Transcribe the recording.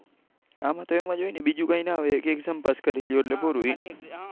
આમાં તો એમ જ હોય બીજું કઈ ના હોય exam પાસ કરી લ્યો એટલે પૂરું.